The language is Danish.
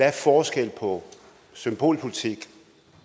er forskellen på symbolpolitik